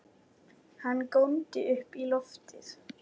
Hann góndi upp í loftið!